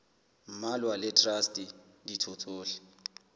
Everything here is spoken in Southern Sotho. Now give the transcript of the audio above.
mmalwa le traste ditho tsohle